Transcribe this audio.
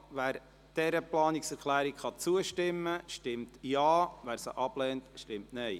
Wer dieser Planungserklärung zustimmen kann, stimmt Ja, wer sie ablehnt, stimmt Nein.